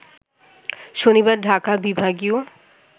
শনিবার ঢাকা বিভাগীয়